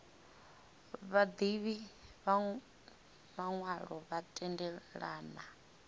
vhaḓivhi vha maṅwalo vha tendelana